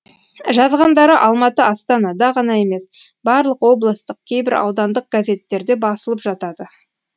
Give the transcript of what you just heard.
жазғандары алматы астанада ғана емес барлық облыстық кейбір аудандық газеттерде басылып жатады